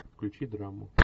включи драму